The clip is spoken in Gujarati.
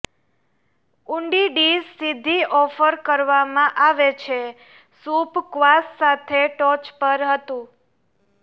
ઊંડી ડીશ સીધી ઓફર કરવામાં આવે છે સૂપ ક્વાસ સાથે ટોચ પર હતું